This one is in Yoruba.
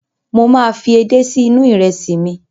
Mo máa fi edé si inú ìrẹsì mi.